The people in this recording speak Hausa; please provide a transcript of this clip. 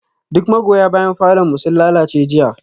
Duk magoya bayan falon mu sun lalace jiya